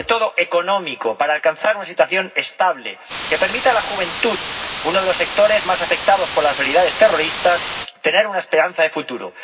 pero, sobre todo, económico, para alcanzar una situación estable que permita a la juventud, uno de los sectores más afectados por las realidades terroristas, tener una esperanza de futuro.